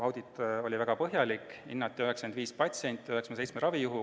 Audit oli väga põhjalik, hinnati 95 patsienti ja 97 ravijuhtu.